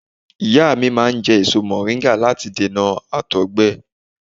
Ìyá mi máa ń jẹ́ èso mọ̀ríńgà láti dènà àtọ̀gbẹ